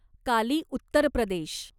काली Uttar प्रदेश